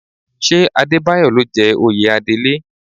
Ṣé Adébáyọ̀ ló jẹ oyè Adelé?